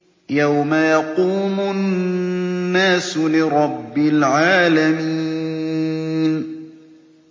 يَوْمَ يَقُومُ النَّاسُ لِرَبِّ الْعَالَمِينَ